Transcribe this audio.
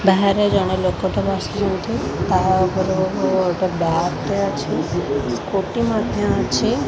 ବାହାରେ ଜଣେ ଲୋକ ଟେ ବସିଛନ୍ତି ତାହା ଉପରକୁ ଗୋଟେ ବାର ଟେ ଅଛି କୋଟି ମଧ୍ୟ୍ୟ ଅଛି।